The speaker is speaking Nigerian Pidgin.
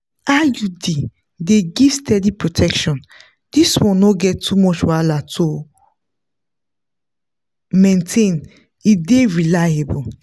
iud dey give steady protection this one no get to much wahala to maintain e dey reliable.